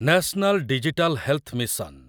national digital health mission